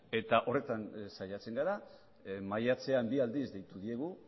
eta horretan saiatzen gara maiatzean bi aldiz deitu diegu